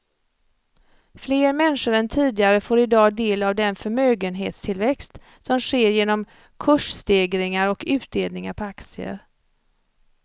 Fler människor än tidigare får i dag del av den förmögenhetstillväxt som sker genom kursstegringar och utdelningar på aktier.